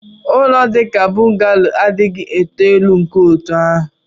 ụlọ dị ka bungalow adịghị eto elu nke otu ahụ